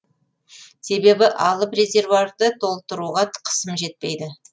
себебі алып резервуарды толтыруға қысым жетпейді